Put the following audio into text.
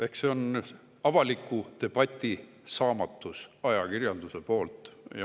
Eks see ole avaliku debati saamatus ajakirjanduse poolt.